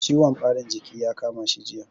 Ciwon ɓarin jiki ya kama shi jiya.